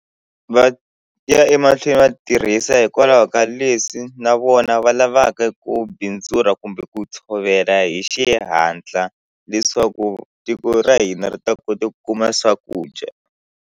Va ya emahlweni va tirhisa hikwalaho ka leswi na vona va lavaka ku bindzula kumbe ku tshovela hi xihatla leswaku tiko ra hina ri ta kota ku kuma swakudya.